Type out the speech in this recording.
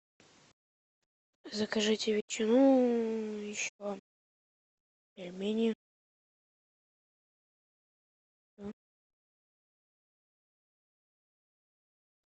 закажите ветчину еще пельмени